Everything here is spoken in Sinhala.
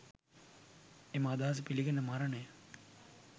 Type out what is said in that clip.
එම අදහස පිළිගෙන මරණය